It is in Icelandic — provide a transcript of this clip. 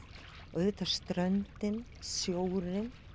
auðvitað ströndin sjórinn